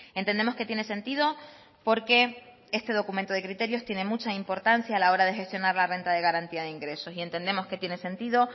entendemos que tiene sentido porque este documento de criterios tiene mucha importancia a la hora de gestionar la renta de garantía de ingresos y entendemos que tiene sentido